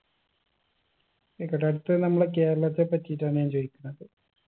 ആയിക്കോട്ടെ അടുത്തത് നമ്മള് കേരളത്തെ പറ്റിട്ടാണ് ഞാൻ ചോയിക്കുന്നത്